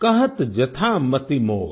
कहत जथा मति मोर